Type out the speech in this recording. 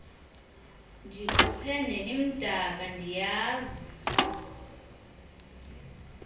ndikhuphe nelimdaka ndiyazi